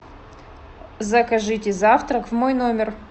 закажите завтрак в мой номер